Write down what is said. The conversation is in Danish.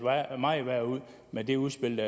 meget værre ud med det udspil